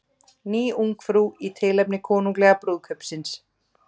Ný Ungfrú í tilefni konunglega brúðkaupsins